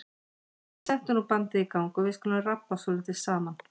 En settu nú bandið í gang og við skulum rabba svolítið saman.